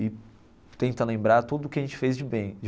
E tenta lembrar tudo o que a gente fez de bem de.